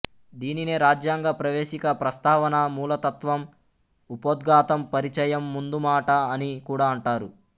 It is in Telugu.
దీనినే రాజ్యాంగ ప్రవేశిక ప్రస్తావన మూలతత్వం ఉపోద్ఘాతం పరిచయం ముందుమాట అని కూడా అంటారు